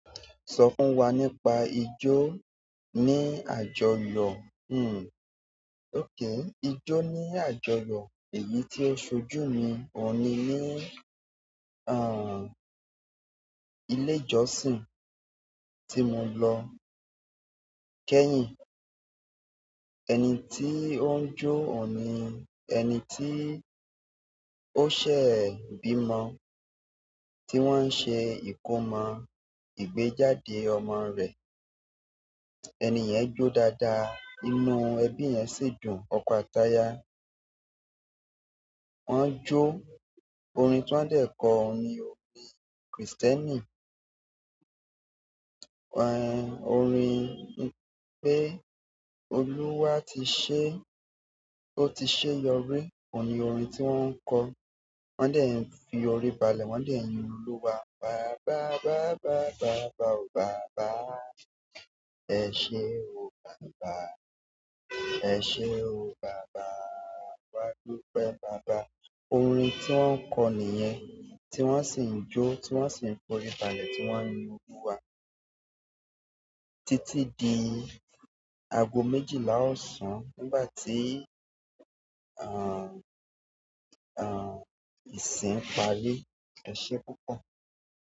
So fún wa nípa ijo nii àjọyọ̀ ijó ní àjọyọ̀ èyí tí ó ṣojú mi ọ̀ ni ní ilé ìjọ́sìn tí mo lọ kẹ́yìn. Ẹni tí ó ń jó òní, ẹni tí ó ṣẹ̀e bímo tí wọ́n ṣe ìkómọ ìgbéjáde ọmọ rẹ̀. Ẹni yẹn jó dáadáa, inú ẹbí yẹn sì dùn, ọ̀ko atáyà. Wọ́n jó orin tí wọ́n dẹ̀ kọ ni orin Kristẹni. Orin pé Olúwa ti ṣé, ó ti ṣe yọrí, òní orin tí wọ́n kọ. Wọ́n dẹ̀ ń fi orí balẹ̀, wọ́n dẹ̀ ń yin Olúwa. Baba, baba, baba o baba, ẹ ṣé o baba, ẹ ṣé o baba, awá dúpẹ́ baba. Orin tí wọ́n kọ nìyẹn, tí wọ́n sì ń jó, tí wọ́n sì ń fi orí balẹ̀, tí wọ́n yin Olúwa títí di ago méjìlá ọ̀sán nígbà tí, ìsìn parí. Ẹ ṣé púpọ̀.